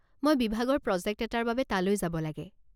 মই বিভাগৰ প্ৰজেক্ট এটাৰ বাবে তালৈ যাব লাগে।